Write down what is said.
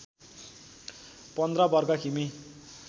१५ वर्ग किमी